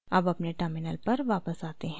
अब अपने terminal पर वापस आते हैं